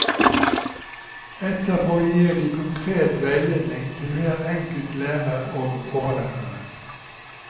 Etterpå gir de konkret veiledning til hver enkelt lærer og overlæreren.